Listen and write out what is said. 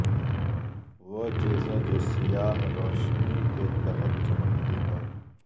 وہ چیزیں جو سیاہ روشنی کے تحت چمکتی ہیں